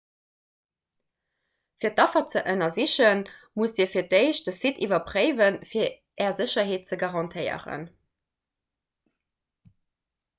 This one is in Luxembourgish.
fir d'affer ze ënnersichen musst dir fir d'éischt de site iwwerpréiwen fir är sécherheet ze garantéieren